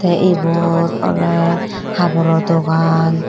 tey ibot oley haboro dogan.